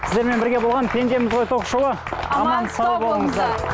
сіздермен бірге болған пендеміз ғой ток шоуы аман сау болыңыздар